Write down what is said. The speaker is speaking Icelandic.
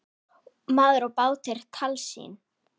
Maður og bátur- tálsýn?